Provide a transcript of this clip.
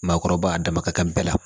Maakɔrɔba dama ka kan bɛɛ la